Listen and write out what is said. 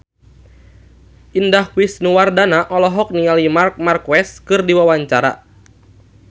Indah Wisnuwardana olohok ningali Marc Marquez keur diwawancara